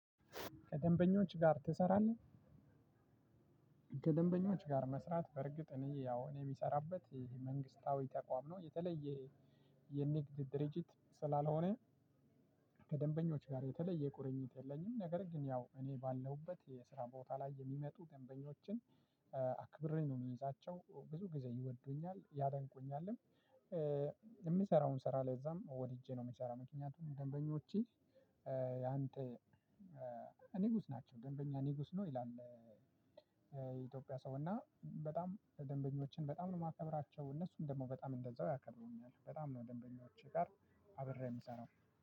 ከደንበኞች ጋር ትሰራለህ? ከደንበኞች ጋር መስራት በእርግጥ እኔ ያው እኔ የምሰራበት መንግስታዊ ተቋም ነው የተለየ የንግድ ድርጅት ስላልሆነ ከደንበኞች ጋር የተለየ ቁርኝት የለኝም። ነገር ግን ያው እኔ ባለሁበት የስራ ቦታ ላይ የሚመጡ ደንበኞችን አክብሬ ነው የሚዛቸው ብዙ ጊዜ ይወዱኛል ያደንቁኛልም። የምሰራውን ስራ ለዛም ወድጄ ነው የምሰራው። ምክንያቱም ደንበኞቼ ያንተ ንጉስ ናቸው ደንበኛ ንጉስ ነው ይላል። የኢትዮጵያ ሰው እና በጣም ደንበኞችን በጣም ነው የማከብራቸው። እነሱም ደግሞ በጣም እንደዛው ያከብሩኛል በጣም ነው ደንበኞቼ ጋር አብሬ የምሰራው።